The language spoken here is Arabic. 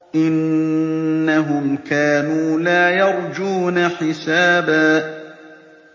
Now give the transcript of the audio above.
إِنَّهُمْ كَانُوا لَا يَرْجُونَ حِسَابًا